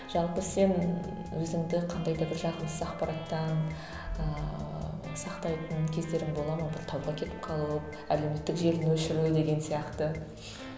жалпы сен өзіңді қандай да бір жағымсыз ақпараттан ыыы сақтайтын кездерің бола ма бір тауға кетіп қалып әлеуметтік желіні өшіру деген сияқты